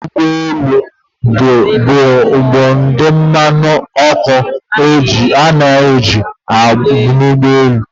Mmanụ ụgbọ elu bụ ụdị mmanụ ọkụ a na-eji na ụgbọ elu.